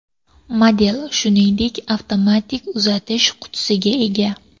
Model, shuningdek, avtomatik uzatish qutisiga ega.